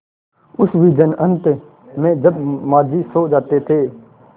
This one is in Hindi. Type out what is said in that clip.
उस विजन अनंत में जब माँझी सो जाते थे